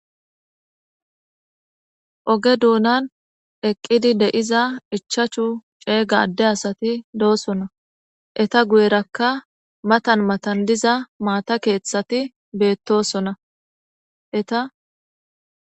Oge doonan eqqidi deiza ichachu ceega adde asati doosona eta guyerakka matan matan diza maata keeththati beettosona eta.